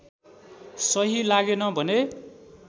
सही लागेन भने